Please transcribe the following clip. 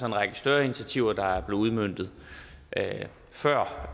en række større initiativer der er blevet udmøntet før